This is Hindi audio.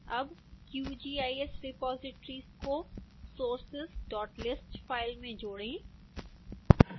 अब qgis repositories को sourceslist फाइल में जोड़ें